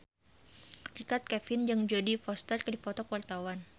Richard Kevin jeung Jodie Foster keur dipoto ku wartawan